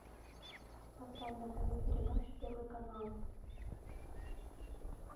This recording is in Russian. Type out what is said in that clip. поставь на тв передачу первый канал